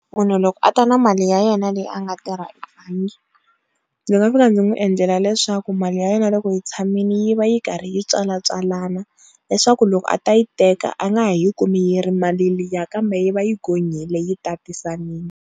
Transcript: Munhu loko a ta na mali ya yena leyi a nga tirha ndzi nga fika ndzi n'wi endlela leswaku mali ya yena loko hi tshamile yi va yi karhi yi tswala tswalana leswaku loko a ta yi teka a nga ha yi kumi yi ri mali liya kambe yi va yi gonyile yi tatisanile.